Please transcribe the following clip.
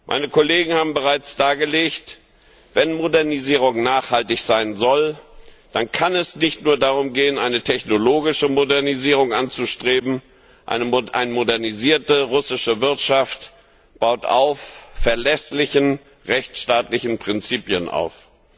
Meine Kollegen haben bereits dargelegt Wenn Modernisierung nachhaltig sein soll, dann kann es nicht nur darum gehen, eine technologische Modernisierung anzustreben. Eine modernisierte russische Wirtschaft baut auf verlässlichen rechtsstaatlichen Prinzipien auf.